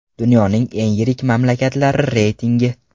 Dunyoning eng yirik mamlakatlari reytingi.